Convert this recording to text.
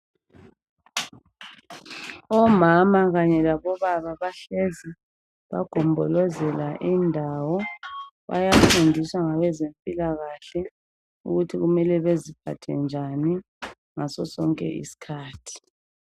Omama kanye labobaba bahlezi bagombolozela indawo bayafundiswa ngabezempilakahle ukuthi kumele beziphathe njani ngaso sonke isikhathi.